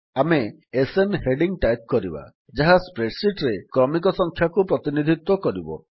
ଆମେ SN heading type କରିବା ଯାହା spreadsheetରେ କ୍ରମିକ ସଂଖ୍ୟାକୁ ପ୍ରତିନିଧିତ୍ୱ କରିବ